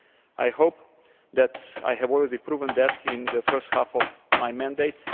I hope that I have already proved that in the first half of my mandate.